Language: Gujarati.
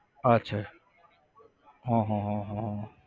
અચ્છા હા હા હા હા